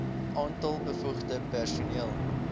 aantal bevoegde personeel